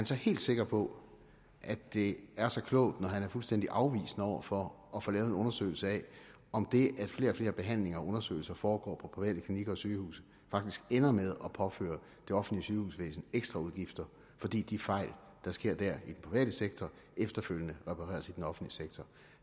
så helt sikker på at det er så klogt at han er fuldstændig afvisende over for at få lavet en undersøgelse af om det at flere og flere behandlinger og undersøgelser foregår på private klinikker og sygehuse faktisk ender med at påføre det offentlige sygehusvæsen ekstra udgifter fordi de fejl der sker i den private sektor efterfølgende repareres i den offentlige sektor